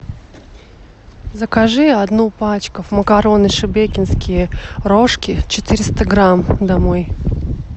закажи одну пачку макароны шебекинские рожки четыреста грамм домой